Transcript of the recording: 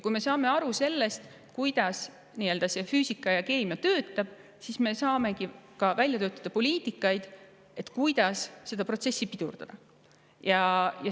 Kui me saame aru sellest, kuidas füüsika ja keemia töötavad, saamegi välja töötada poliitikaid selle kohta, kuidas seda protsessi pidurdada.